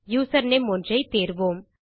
username ஒன்றை தேர்வோம்